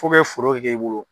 Fokɛ foro ka kɛ i bolo.